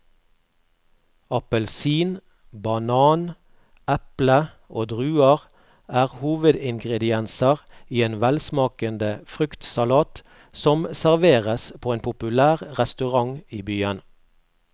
Appelsin, banan, eple og druer er hovedingredienser i en velsmakende fruktsalat som serveres på en populær restaurant i byen.